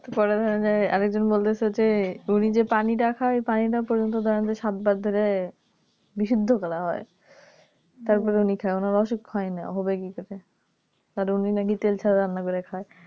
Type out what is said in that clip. বড়ো ধরণের আরেকজন বলছে যে উনি যে পানিটা খায় ওই পানিটা পর্যন্ত সাতবার ধরে বিশুদ্ধ করা হয় তারপরে উনি খায় ওনার অসুখ হয় না হবে কি করে আর উনি নাকি তেল ছাড়া রান্না করে খায়